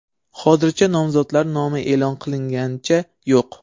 Hozircha nomzodlar nomi e’lon qilinganicha yo‘q.